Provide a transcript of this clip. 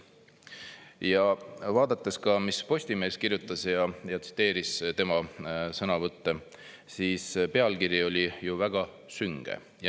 Ja vaadates ka, mis Postimees kirjutas ja tsiteeris tema sõnavõtte, siis pealkiri oli ju väga sünge.